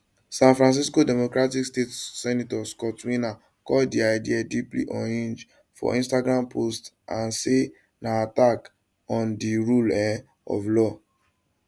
san francisco democratic state senator scott wiener call di idea deeply unhinged for instagram post and say na attack on di rule um of law